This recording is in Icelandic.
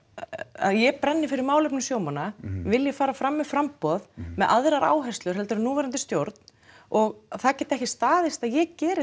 að ég brenni fyrir málefnum sjómanna vilji fara fram með framboð með aðrar áherslur heldur en núverandi stjórn og það geti ekki staðist að ég geri